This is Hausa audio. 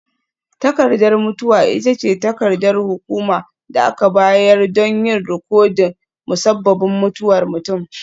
Takardar mutuwa ita ce takardar hukuma da aka bayar don yin rikodin musabbabin mutuwar mutum.